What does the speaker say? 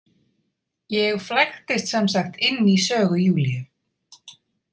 Ég flæktist sem sagt inn í sögu Júlíu.